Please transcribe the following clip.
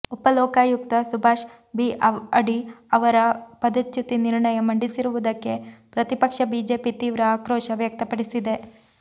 ಉಪ ಲೋಕಾಯುಕ್ತ ಸುಭಾಷ್ ಬಿ ಅಡಿ ಅವರ ಪದಚ್ಯುತಿ ನಿರ್ಣಯ ಮಂಡಿಸಿರುವುದಕ್ಕೆ ಪ್ರತಿಪಕ್ಷ ಬಿಜೆಪಿ ತೀವ್ರ ಆಕ್ರೋಶ ವ್ಯಕ್ತಪಡಿಸಿದೆ